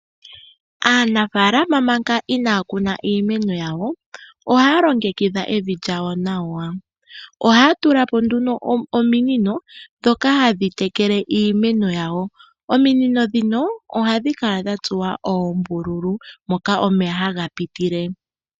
Aanafaalama manga inaaya kuna iimeno yawo . ohaya longekidha evi lyawo nawa. Ohaya tulapo nduno ominino ndhoka hadhi tekele iimeno yawo. Ominino ndhino ohadhi kala dhatsuwa oombululu moka omeya haga pitile.